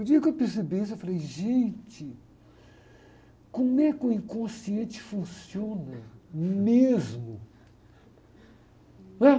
O dia que eu percebi isso, eu falei, gente, como é que o inconsciente funciona mesmo. Né?